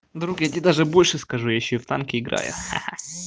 друг я тебе даже больше скажу я ещё и в танки играю ха-ха